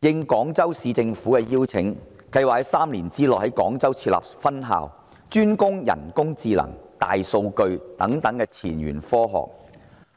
應廣州市政府的邀請，計劃在3年內於廣州設立分校，專攻人工智能、大數據等前沿科學。